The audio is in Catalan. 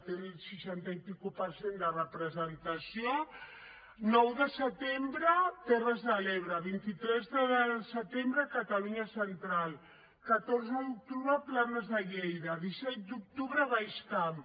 té el seixanta i escaig per cent de representació nou de setembre terres de l’ebre vint tres setembre catalunya central catorze d’octubre plana de lleida disset d’octubre baix camp